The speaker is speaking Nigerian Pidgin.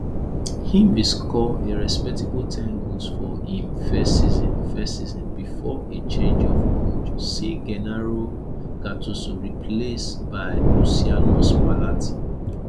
im bin score a respectable ten goals for im first season first season bifor a change of coach see gennaro gattuso replaced by luciano spallatti